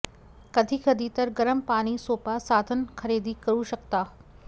कधी कधी तर गरम पाणी सोपा साधन खरेदी करू शकता